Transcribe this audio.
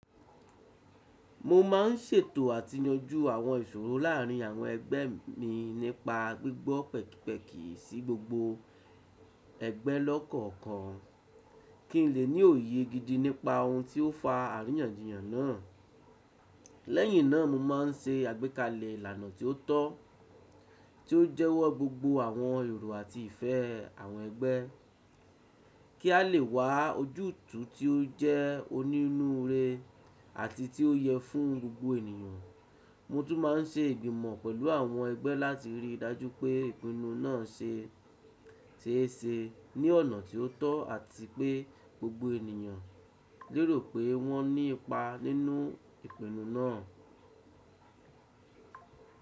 Mo máa ń ṣètò àti yanjú àwọn ìṣòro láàárín àwọn ẹgbẹ́ mi nípa gbígbọ́ pẹ̀kí pẹ̀kí sí gbogbo ẹgbẹ́ lọ́kọ̀ọ̀kan, kí ń lè ní òye gidi nípa ohun tí ó fa àríyànjiyàn náà. Lẹ́yìn náà, mo máa ń ṣe àgbékalẹ̀ ìlànà tí ó tọ́, tí ó jẹ́wọ́ gbogbo àwọn èrò àti ìfẹ́ àwọn ẹgbẹ́, kí á lè wá ojútùú tí ó jẹ́ onínúure àti tí ó yẹ fún gbogbo ènìyàn. Mo tún máa ń ṣe ìgbìmọ̀ pẹ̀lú àwọn ẹgbẹ́ láti rí i dájú pé ìpinnu náà ṣe é ṣe ní ọ̀nà tí ó tọ́ àti pé gbogbo ènìyàn lérò pé wọ́n ní ipa nínú ìpinnu náà.